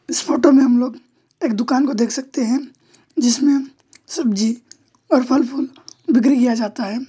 इस फोटो में हम लोग एक दुकान को देख सकते है जिसमे सब्जी और फलफूल बिक्री किया जाता है।